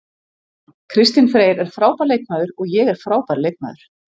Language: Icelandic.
Kristinn Freyr er frábær leikmaður og ég er frábær leikmaður.